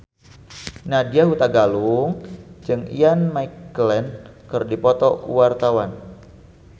Nadya Hutagalung jeung Ian McKellen keur dipoto ku wartawan